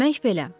Demək belə.